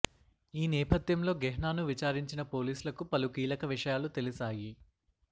ఈ నేపథ్యంలో గెహ్నాను విచారించిన పోలీసులకు పలు కీలక విషయాలు తెలిశాయి